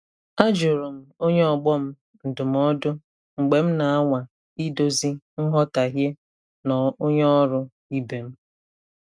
A jụrụ m onye ọgbọ m ndụmọdụ mgbe m na-anwa idozi nghọtahie na onye ọrụ ibe m.